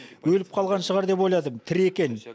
өліп қалған шығар деп ойладым тірі екен